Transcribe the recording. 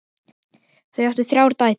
Þau áttu þrjár dætur.